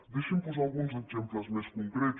deixin me posar alguns exemples més concrets